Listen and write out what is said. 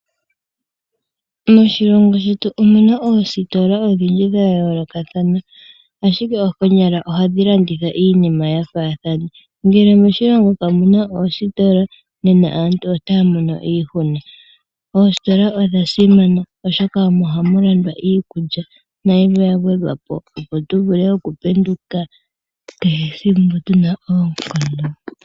Moshilongo shetu omuna oositola odhindji dha yoolokathana ashike konyala ohadhi landitha iinima yafaathana. Moshilongo ngele kamuna oositola nena aantu otaya mono iihuna. Oositola odha simana oshoka omo hamu landwa iikulya nayimwe yagwedhwa po, opo tu vule okupenduka tuna oonkondo.